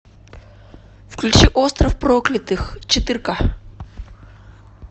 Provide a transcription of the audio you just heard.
включи остров проклятых четырка